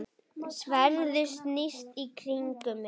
Sverðið snýst í kringum mig.